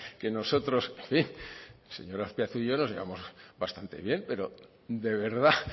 que nosotros en fin el señor azpiazu y yo nos llevamos bastante bien pero de verdad